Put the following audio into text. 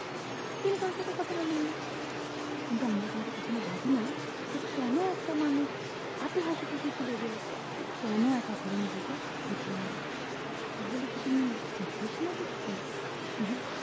কথা বলেন না কিন্তু আমরা কিন্তু কখনো ভাবিনা যে কেন একটা মানুষ এত হাসি খুশি ছিল যে সে কেন এক ঘরে নিজেকে গুটিয়ে নিলো তাহলে কি তিনি depression এ ভুগছেন উম হু